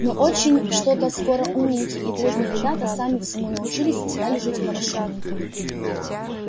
но очень что-то скоро умненькие и дружные ребята сами всему научились и стали жить хорошо